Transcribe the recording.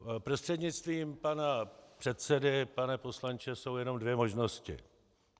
Prostřednictvím pana předsedy pane poslanče, jsou jenom dvě možnosti.